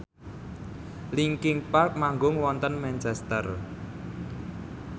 linkin park manggung wonten Manchester